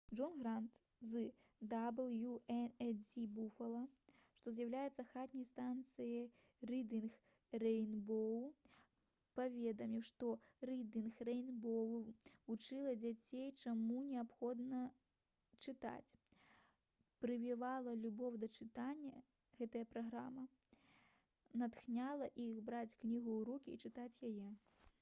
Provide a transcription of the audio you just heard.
джон грант з «дабл'ю-эн-і-дзі буфала» што з'яўляецца хатняй станцыяй «рыдынг рэйнбоў» паведаміў што «рыдынг рэйнбоў» вучыла дзяцей чаму неабходна чытаць, прывівала любоў да чытання — [гэтая праграма] натхняла іх браць кнігу ў рукі і чытаць яе»